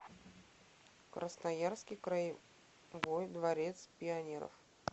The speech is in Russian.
красноярский краевой дворец пионеров